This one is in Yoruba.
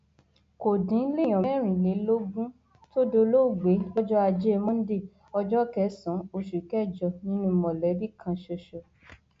kò dín léèyàn mẹrìnlélógún tó dolóògbé lọjọ ajé monde ọjọ kẹsànán oṣù kẹjọ nínú mọlẹbí kan ṣoṣo